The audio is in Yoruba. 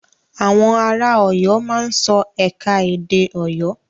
Àwọn ara Ọ̀yọ́ máa ń sọ ẹ̀ka-edè Ọ̀yọ́.